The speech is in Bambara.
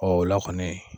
Ɔ o la kɔni